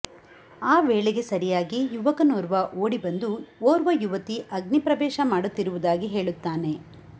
ಆ ವೇಳೆಗೆ ಸರಿಯಾಗಿ ಯುವಕನೋರ್ವ ಓಡಿಬಂದು ಓರ್ವಯುವತಿ ಅಗ್ನಿಪ್ರವೇಶ ಮಾಡುತ್ತಿರುವುದಾಗಿ ಹೇಳುತ್ತಾನೆ